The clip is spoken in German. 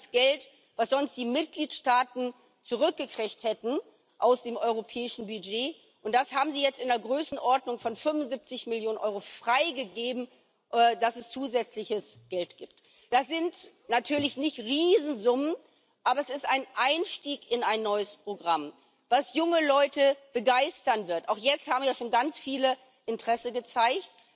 Das ist Geld, das sonst die Mitgliedstaaten aus dem europäischen Budget zurückbekommen hätten, und das haben sie jetzt in einer Größenordnung von 75 Millionen Euro freigegeben, dass es zusätzliches Geld gibt. Das sind natürlich keine Riesensummen, aber es ist ein Einstieg in ein neues Programm, das junge Leute begeistern wird. Auch jetzt haben ja schon ganz viele Interesse gezeigt.